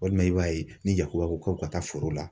Walima i b'a ye, ni yakuba ko k'u ka taa foro la.